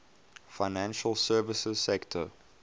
financial services sector